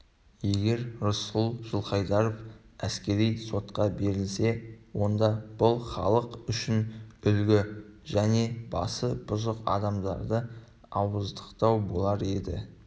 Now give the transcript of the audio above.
егер рысқұл жылқайдаров әскери сотқа берілсе онда бұл халық үшін үлгі және басы бұзық адамдарды ауыздықтау болар еді